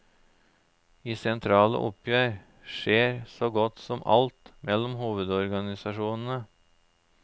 I sentrale oppgjør skjer så godt som alt mellom hovedorganisasjonene.